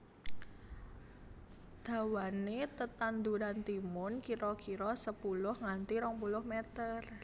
Dawané tetanduran timun kira kira sepuluh nganti rong puluh meter